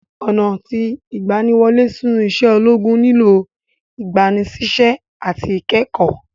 Ọna ti igbaniwole sinu ise ologun nilo igbanisise ati ikẹkọ.